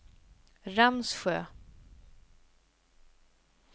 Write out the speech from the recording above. Ramsjö